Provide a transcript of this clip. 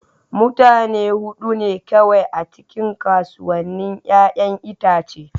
Mutane hudu ne kawai a cikin kasuwannin 'ya'yan itace.